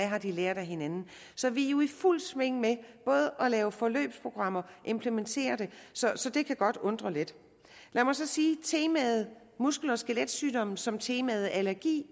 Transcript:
har lært af hinanden så vi er jo i fuldt sving med både at lave forløbsprogrammer og implementere dem så så det kan godt undre lidt lad mig så sige at temaet muskel og skeletsygdomme som temaet allergi